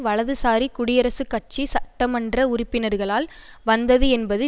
வலதுசாரி குடியரசுக் கட்சி சட்டமன்ற உறுப்பினர்களால் வந்தது என்பது